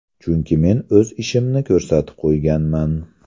Chunki men o‘z ishimni ko‘rsatib qo‘yganman.